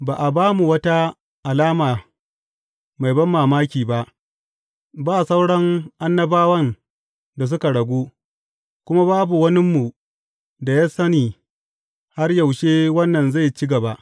Ba a ba mu wata alama mai banmamaki ba; ba sauran annabawan da suka ragu, kuma babu waninmu da ya sani har yaushe wannan zai ci gaba.